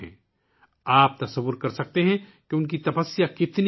آپ اندازہ لگا سکتے ہیں کہ ان کی تپسیا کتنی عظیم ہے